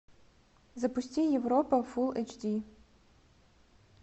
запусти европа фулл эйч ди